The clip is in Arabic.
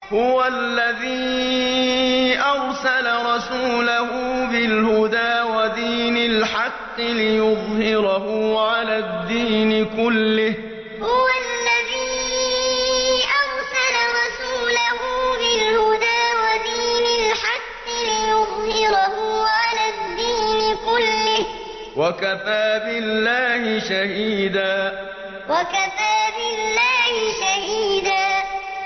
هُوَ الَّذِي أَرْسَلَ رَسُولَهُ بِالْهُدَىٰ وَدِينِ الْحَقِّ لِيُظْهِرَهُ عَلَى الدِّينِ كُلِّهِ ۚ وَكَفَىٰ بِاللَّهِ شَهِيدًا هُوَ الَّذِي أَرْسَلَ رَسُولَهُ بِالْهُدَىٰ وَدِينِ الْحَقِّ لِيُظْهِرَهُ عَلَى الدِّينِ كُلِّهِ ۚ وَكَفَىٰ بِاللَّهِ شَهِيدًا